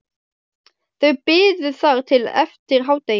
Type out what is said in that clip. Þau biðu þar til eftir hádegi.